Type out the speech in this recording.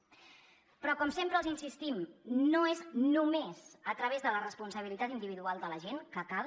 però com sempre els hi insistim no és només a través de la responsabilitat individual de la gent que cal